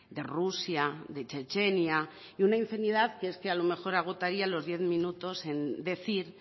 de rusia de chechenia y una infinidad que es que a lo mejor agotaría los diez minutos en decir